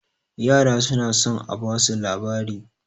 yara suna son a basu labari